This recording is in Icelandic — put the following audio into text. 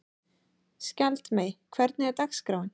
Skjaldmey, hvernig er dagskráin?